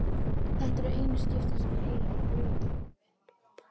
Þetta eru einu skiptin sem ég heyri hana flauta.